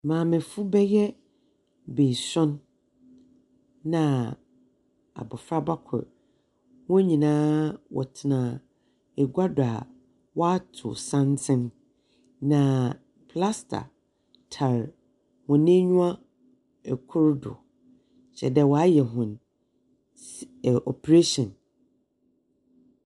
Maamefo bɛyɛ beesuon, na abɔfraba kor. Hɔn nyinaa wɔtsena agua do a wɔatow santsen. Na plasta tar hɔn enyiwa kor do. Kyerɛ dɛ wɔayɛ hɔn s ɛɛ operation.